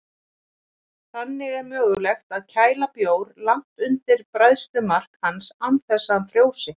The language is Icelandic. Þannig er mögulegt að kæla bjór langt undir bræðslumark hans án þess að hann frjósi.